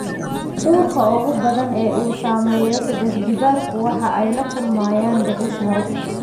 Uurka ugu badan ee uu saameeyo saddex-jibbaarku waxa ay ku lumiyaan dhicis hore.